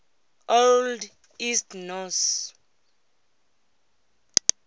old east norse